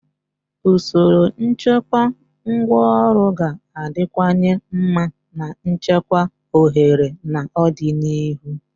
Usoro nchekwa ngwaọrụ ga-adịwanye mma na nchekwa ohere na ọdịnihu.